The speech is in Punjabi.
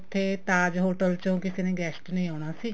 ਉੱਥੇ ਤਾਜ਼ hotel ਚੋ ਕਿਸੇ ਨੇ guest ਨੇ ਆਉਣਾ ਸੀ